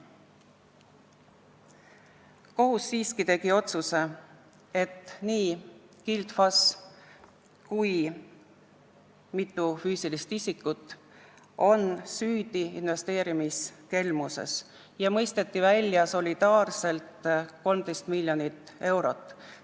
Kohus siiski tegi otsuse, et nii Gild FAS kui ka mitu füüsilist isikut on süüdi investeerimiskelmuses, ja mõisteti solidaarselt välja 13 miljonit eurot.